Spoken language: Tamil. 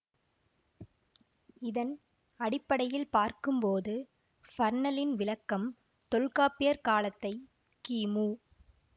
இதன் அடிப்படையில் பார்க்கும்போது பர்னலின் விளக்கம் தொல்காப்பியர் காலத்தை கிமு